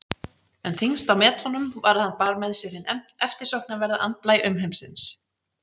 En þyngst á metunum var að hann bar með sér hinn eftirsóknarverða andblæ umheimsins.